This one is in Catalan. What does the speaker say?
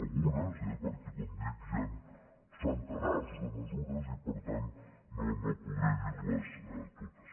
algunes eh perquè com dic hi ha centenars de mesures i per tant no podré dir les totes